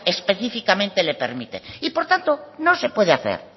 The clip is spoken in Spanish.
específicamente le permite y por tanto no se puede hacer